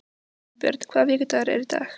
Valbjörn, hvaða vikudagur er í dag?